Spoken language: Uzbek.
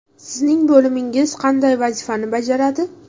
Sizning bo‘limingiz qanday vazifalarni bajaradi?